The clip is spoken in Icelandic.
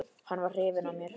Hann var hrifinn af mér.